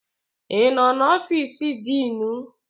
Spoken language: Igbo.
Ị nọ n'ọfiisu diinu?